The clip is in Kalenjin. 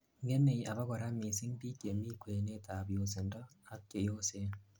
ngemei abakora missing biik chemikwenet ab yosindo ak cheyosen